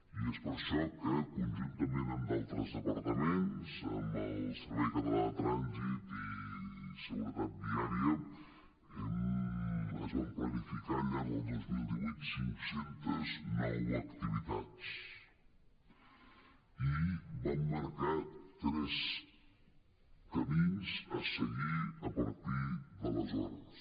i és per això que conjuntament amb d’altres departaments amb el servei català de trànsit i seguretat viària es van planificar al llarg del dos mil divuit cinc cents i nou activitats i vam marcar tres camins a seguir a partir d’aleshores